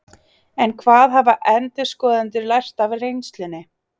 En hvað hafa endurskoðendur lært af reynslunni?